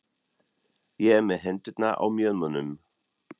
Ég er með hendurnar á mjöðmunum.